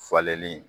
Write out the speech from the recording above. Falenli